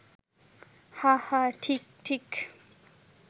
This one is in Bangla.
হাঁ হাঁ, ঠিক ঠিক